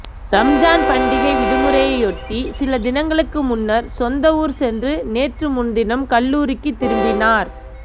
ரம்ஜான் பண்டிகை விடுமுறையொட்டி சில தினங்களுக்கு முன்னர் சொந்த ஊர் சென்று நேற்று முன்தினம் கல்லூரிக்கு திரும்பினார்